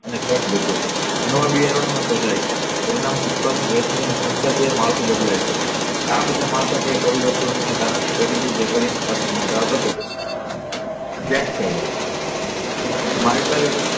અને ખર્ચ બચે છે નવા બિયારણો શોધાય છે પરિણામ ઉત્તર અને સંસદીય માળખું બદલાય છે આ બધા માળખાકીય પરિણામ ને કારણે ગરીબી બેકારીની અસમાનતા ઘટે છે વ્યાખ્યાઓ માઈકલ